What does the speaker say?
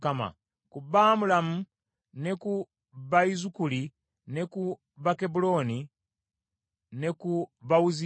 Ku Bamulaamu, ne ku Bayizukaali, ne ku Bakebbulooni, ne ku Bawuziyeeri: